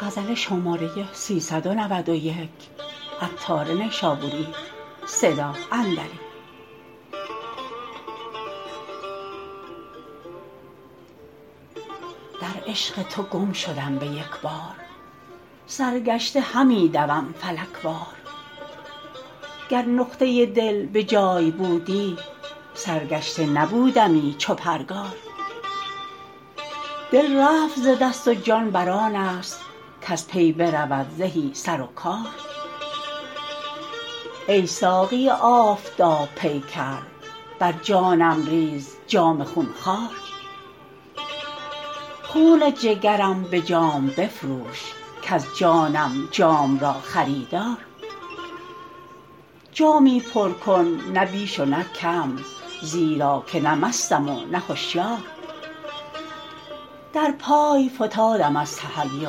در عشق تو گم شدم به یکبار سرگشته همی دوم فلک وار گر نقطه دل به جای بودی سرگشته نبودمی چو پرگار دل رفت ز دست و جان برآن است کز پی برود زهی سر و کار ای ساقی آفتاب پیکر بر جانم ریز جام خون خوار خون جگرم به جام بفروش کز جانم جام را خریدار جامی پر کن نه بیش و نه کم زیرا که نه مستم و نه هشیار در پای فتادم از تحیر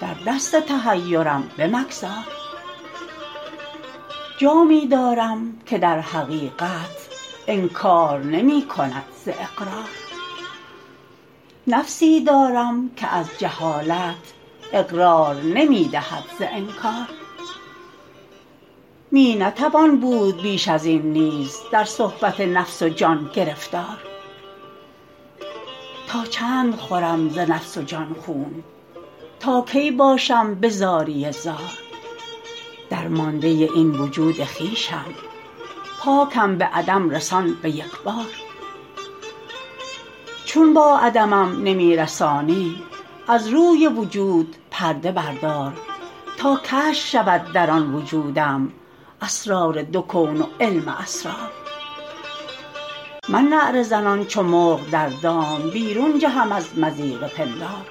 در دست تحیرم به مگذار جامی دارم که در حقیقت انکار نمی کند ز اقرار نفسی دارم که از جهالت اقرار نمی دهد ز انکار می نتوان بود بیش ازین نیز در صحبت نفس و جان گرفتار تا چند خورم ز نفس و جان خون تا کی باشم به زاری زار درمانده این وجود خویشم پاکم به عدم رسان به یکبار چون با عدمم نمی رسانی از روی وجود پرده بردار تا کشف شود در آن وجودم اسرار دو کون و علم اسرار من نعره زنان چو مرغ در دام بیرون جهم از مضیق پندار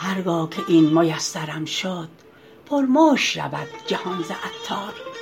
هرگاه که این میسرم شد پر مشک شود جهان ز عطار